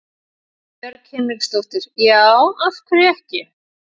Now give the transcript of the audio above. Guðbjörg Hinriksdóttir: Já, af hverju ekki?